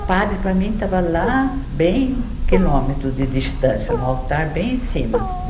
O padre, para mim, estava lá, bem quilômetros de distância, no altar, bem em cima.